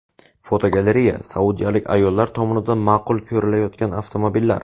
Fotogalereya: Saudiyalik ayollar tomonidan ma’qul ko‘rilayotgan avtomobillar.